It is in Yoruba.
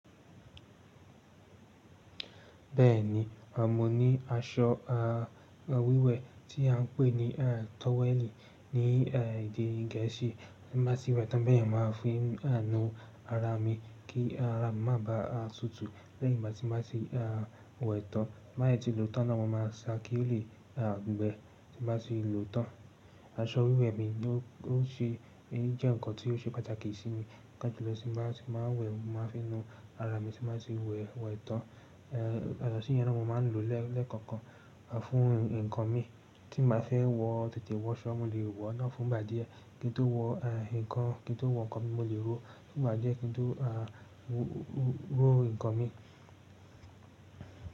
Bẹ́ẹ̀ni, mo ní aṣọ wíwẹ̀ tí a ń pè ní towel ní èdè Gẹ̀ẹ́sì tí n báa ti wẹ̀ tán bá yẹn máa fi nu ara mi kí ara mi má ba tutù lẹ́yìn ìgbà tí máa ti wẹ̀ tán. Tí n bá sì ti lòótan náà mo máa sa kí ó lè gbẹ tí n báa ti lòótan. Aṣọ wíwẹ̀ mi ni ó ṣe jẹ́ ǹkan tí ó ṣe pàtàkì sí mi paapa jùlọ tí n báa ti máa wẹ̀ mo máa fi nu ara mi tí n báa ti wẹ̀ wẹ̀ tán. Ya to sí yẹn náà mo máa ń lò lẹ́ẹ̀kọ́kan fún ǹkan mi tí n bàá fẹ́ wọ tètè wọ so mo lè wọọ́ náà fún ìgbà díẹ̀. Kí n tó wọ ǹkan kí n tó wọ ǹkan mi mo lè ró fún ìgbà díẹ̀ kí n tó ró ǹkan mi.